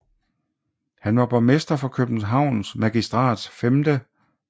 Han var borgmester for Københavns Magistrats 5